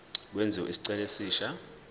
kwenziwe isicelo esisha